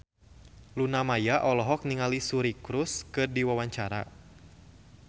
Luna Maya olohok ningali Suri Cruise keur diwawancara